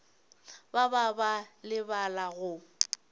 ba ba ba lebala go